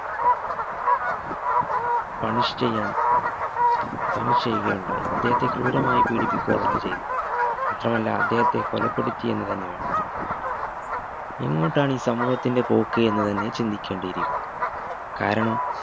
punish ചെയ്യാൻ punish ചെയ്യുകയുണ്ടായി അദ്ദേഹത്തെ ക്രൂരമായി പീഡിപ്പിക്കുക തന്നെ ചെയ്തു മാത്രമല്ല അദ്ദേഹത്തെ കൊലപ്പെടുത്തി എന്ന് തന്നെ വേണം പറയാൻ എങ്ങോട്ടാണീ സമൂഹത്തിന്റെ പോക്ക് എന്ന് തന്നെ ചിന്തിക്കേണ്ടിയിരിക്കുന്നു കാരണം